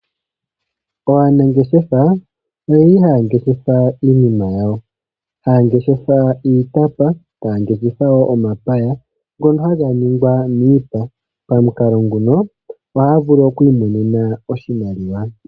Aanangeshefa ohaya ngeshefa iinima ngaashi iitapa, nomapaya ngono haga ningwa miipa pamukalo nguno ohaya vulu okwi imonena oshimaliwa.